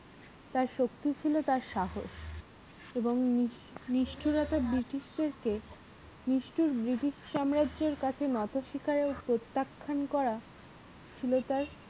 তার শক্তিই ছিল তার সাহস এবং british দের কে নিষ্ঠুর british সাম্রাজ্যের কাছে নত শিখরের প্রত্যাখ্যান করা ছিল তার